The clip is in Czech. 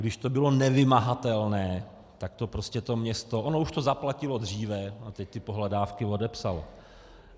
Když to bylo nevymahatelné, tak to prostě to město - ono už to zaplatilo dříve a teď ty pohledávky odepsalo.